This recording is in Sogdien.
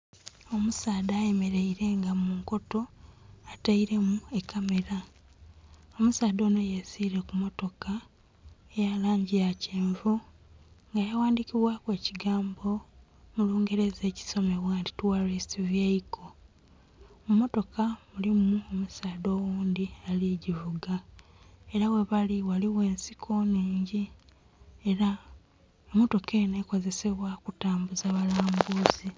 Omusaadha ayemeleile nga mu nkoto atailemu ekamera. Omusaadha oyo yesiile ku mmotoka eya langi eya kyenvu nga yaghadhikibwaku ekigambo mu lungereza ekisoma nti "Tourist Vehicle". Mu mmotoka mulimu omusaadha oghundhi ali givuga ela ghebali ghaligho ensiko nnhingi ela emmotoka enho ekozesebwa kutambuza balambuzi.